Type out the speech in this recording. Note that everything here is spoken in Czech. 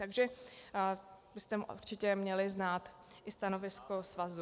Takže byste určitě měli znát i stanovisko svazu.